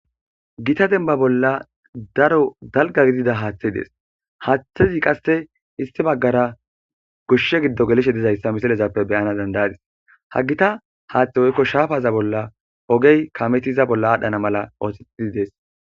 gita denimba bolla daro dalga gidida haaththe dees haaththezi qasse issi baggara goshshe giddo gelishe dizayssa misilezappe beyana dandayadis ha gita haaththe woykko shaafaza bolla ogey kametiza bolla aadhdhana mala oothetid dees